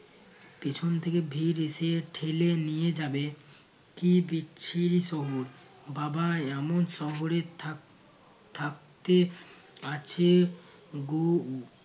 পেছন থেকে ভিড় এসে ঠেলে নিয়ে যাবে কী বিচ্ছিরি শহর। বাবা! এমন শহরে থাক~ থাকতে আছে গো